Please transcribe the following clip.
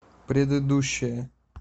предыдущая